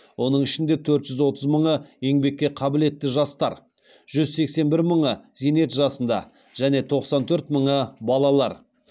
оның ішінде төрт жүз отыз мыңы еңбекке қабілетті жастар жүз сексен бір мыңы зейнет жасында және тоқсан төрт мыңы балалар